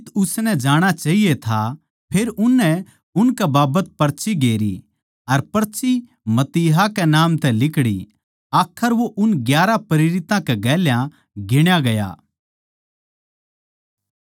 फेर उननै उनकै बाबत पर्ची गेरी अर पर्ची मत्तियाह कै नाम लिकड़ी आखर वो उन ग्यारहां प्रेरितां कै गेल्या गिण्या गया